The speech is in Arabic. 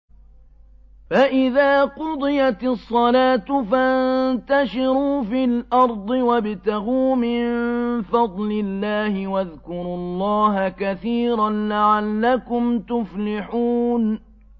فَإِذَا قُضِيَتِ الصَّلَاةُ فَانتَشِرُوا فِي الْأَرْضِ وَابْتَغُوا مِن فَضْلِ اللَّهِ وَاذْكُرُوا اللَّهَ كَثِيرًا لَّعَلَّكُمْ تُفْلِحُونَ